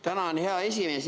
Tänan, hea esimees!